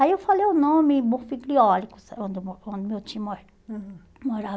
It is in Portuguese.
Aí eu falei o nome, Morfiglióricos, onde o meu onde meu tio morava